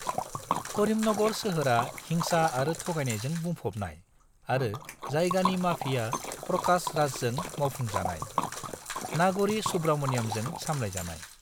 करीमनगर सोहोरआ हिंसा आरो थगायनायजों बुंफबनाय आरो जायगानि माफिया प्रकाश राजजों मावफुंजानाय नाग'री सुब्रमण्यमजों सामलायजानाय।